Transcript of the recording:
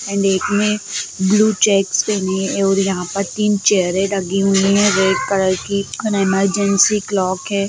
--And इसमें blue checks पहने-- और यहां पर तीन चेयरें लगी हुई है रेड कलर की इमरजेंसी क्लॉक है।